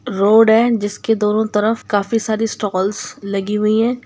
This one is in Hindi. रोड है जिसके दोनों तरफ काफी सारी स्टॉल्स लगी हुई है।